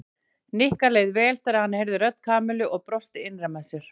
Nikka leið vel þegar hann heyrði rödd Kamillu og brosti innra með sér.